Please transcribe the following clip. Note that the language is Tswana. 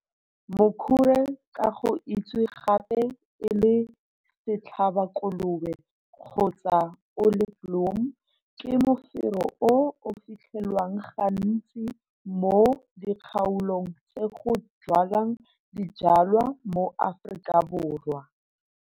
Mokhure, ka go itsewe gape e le Setlhabakolobe kgotsa Olieboom, ke mofero o o filthelwang gantsi mo dikgaolong tse go jwalwang dijwalwa mo Afrikaborwa.